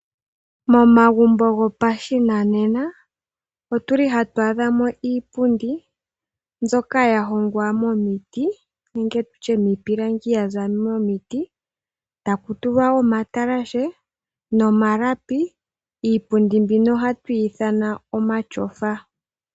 Momagumbo gopashinanena otu li hatu adha mo iipundi mbyoka ya hongwa momiti nenge tu tye miipilangi ya za momiti taku tulwa omatalashe nomalapi. Iipundi mbino ohatu yi ithana omatyofa.